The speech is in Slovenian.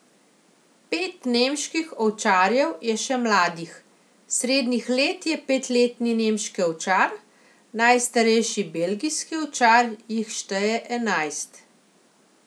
Pet nemških ovčarjev je še mladih, srednjih let je petletni nemški ovčar, najstarejši belgijski ovčar jih šteje enajst.